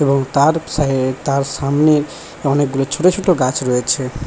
এবং তার সা এ-এ তার সামনে অনেকগুলো ছোট ছোট গাছ রয়েছে।